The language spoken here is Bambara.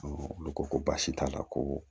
olu ko ko baasi t'a la koo